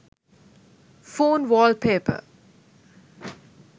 phone wallpepar